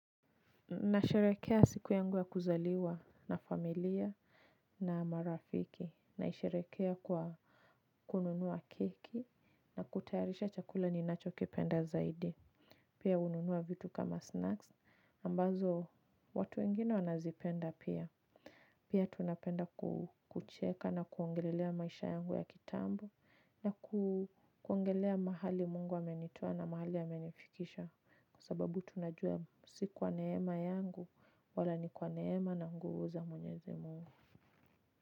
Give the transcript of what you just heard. Na sherekea siku yangu ya kuzaliwa na familia na marafiki naisherekea kwa kununua keki na kutayarisha chakula ninacho kipenda zaidi. Pia ununua vitu kama snacks ambazo watu wengine wanazipenda pia. Pia tunapenda kucheka na kuongelelea maisha yangu ya kitambo na kuongelea mahali mungu amenitoa na mahali amenifikisha kwa sababu tunajua si kwa neema yangu wala ni kwa neema na nguvu za mwenyezi mungu.